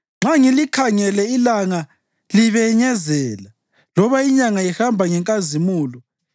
nxa ngilikhangele ilanga libenyezela loba inyanga ihamba ngenkazimulo,